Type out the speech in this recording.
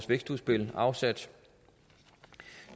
vækstudspil afsat